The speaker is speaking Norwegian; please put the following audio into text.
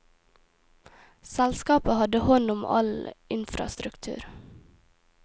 Selskapet hadde hånd om all infrastruktur.